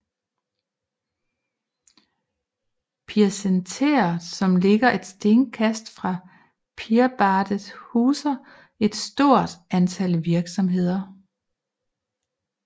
Pirsenteret som ligger et stenkast fra Pirbadet huser et stort antal virksomheder